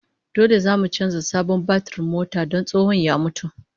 Dole zamu canza sabon batirin motar don tsohon ya mutu